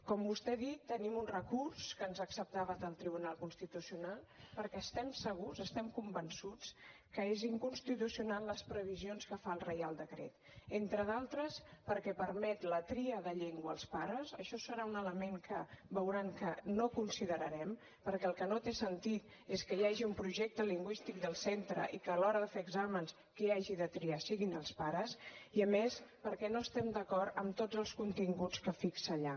com vostè ha dit tenim un recurs que ens ha acceptat el tribunal constitucional perquè estem segurs estem convençuts que són inconstitucionals les previsions que fa el reial decret entre d’altres perquè permet la tria de llengua als pares això serà un element que veuran que no considerarem perquè el que no té sentit és que hi hagi un projecte lingüístic del centre i que a l’hora de fer exàmens qui hagi de triar siguin els pares i a més perquè no estem d’acord amb tots els continguts que fixa allà